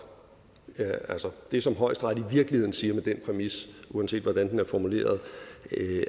det som højesteret i virkeligheden siger med den præmis uanset hvordan den er formuleret